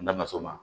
N'an ka so ma